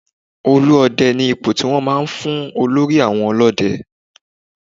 Olú Ọdẹ ni ipò tí wọ́n máa ń fún olórí àwọn ọlọ́dẹ.